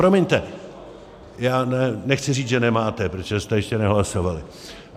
Promiňte, já nechci říct, že nemáte, protože jste ještě nehlasovali.